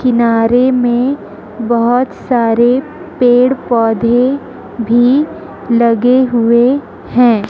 किनारे में बहुत सारे पेड़ पौधे भी लगे हुए हैं।